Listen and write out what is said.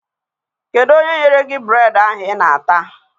Kedụ onye nyere gị bureedị ahụ I na-ata?